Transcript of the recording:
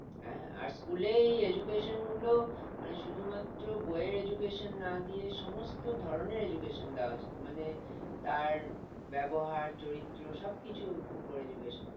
হ্যাঁ আর school এ এই education গুলো মানে শুধু মাত্র বই এর education না দিয়ে সমস্ত ধরণের education দেওয়া উচিত মানে তার ব্যবহার চরিত্র সবকিছুর উপরে education